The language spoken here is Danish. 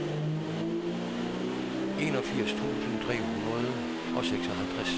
enogfirs tusind tre hundrede og seksoghalvtreds